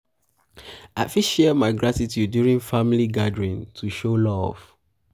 i fit share my gratitude during family gathering um to show love.